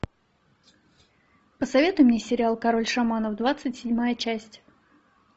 посоветуй мне сериал король шаманов двадцать седьмая часть